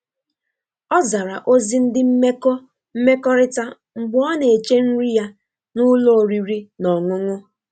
Ọ zara ozi ndi mmeko mmekọrita mgbe ọ na-eche nri ya na ụlọ oriri na ọṅụṅụ.